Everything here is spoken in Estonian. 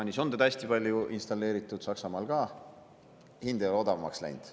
Taanis on teda hästi palju installeeritud, Saksamaal ka, aga hind ei ole odavamaks läinud.